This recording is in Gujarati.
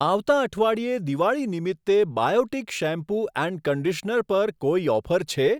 આવતા અઠવાડિયે દિવાળી નિમિત્તે બાયોટિક શેમ્પૂ એન્ડ કંડીશનર પર કોઈ ઓફર છે?